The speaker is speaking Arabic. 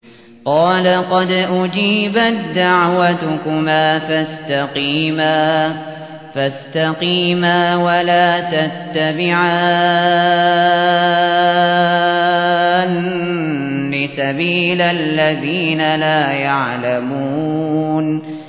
قَالَ قَدْ أُجِيبَت دَّعْوَتُكُمَا فَاسْتَقِيمَا وَلَا تَتَّبِعَانِّ سَبِيلَ الَّذِينَ لَا يَعْلَمُونَ